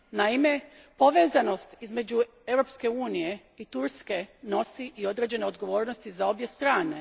Naime, povezanost između Europske unije i Turske nosi i određene odgovornosti za obje strane.